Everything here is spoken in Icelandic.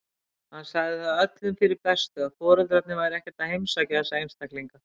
Hann sagði það öllum fyrir bestu að foreldrarnir væru ekkert að heimsækja þessa einstaklinga.